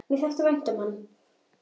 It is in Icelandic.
Mér þótti vænt um hann.